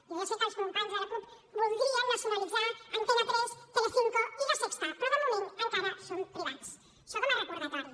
jo ja sé que els companys de la cup voldrien nacionalitzar antena tres telecinco i la sexta però de moment encara són privats això com a recordatori